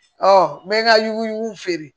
n bɛ n ka ɲugu feere